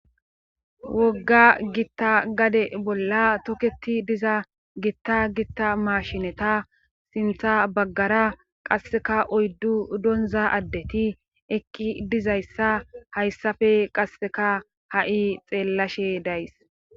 wogga gitta gade bolla toketi diza gitta gitta mashineta sintha baggara qasseka oyddu donza addeti eqqi dizayssa hayssafe qasseka ha7i xeellashe days